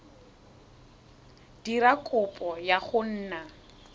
dira kopo ya go nna